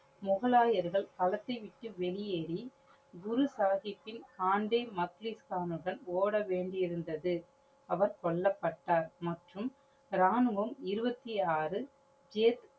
முகலாயர்கள் கலத்தை விட்டு வெளியேறி குரு சாஹிபின் ஓடவேண்டியது இருந்தது. அவர் கொல்லப்பட்டார். மற்றும் ராணுவம் இருபத்தி ஆறு